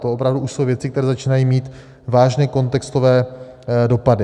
To opravdu už jsou věci, které začínají mít vážné kontextové dopady.